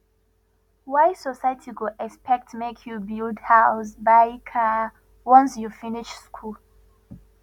why society go expect make you build house buy car once you finish school